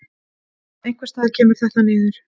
Einhvers staðar kemur þetta niður.